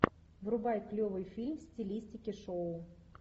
врубай клевый фильм в стилистике шоу